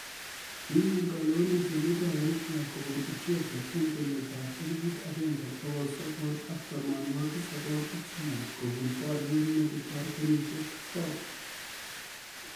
Kinyor kalewenet emet ab Eritrea kopun Ethiopia eng kenyit ab eliput agenge pokol sogol ak tamanwakik sogol ak somok kobun boriet nekitar kenyishek sosom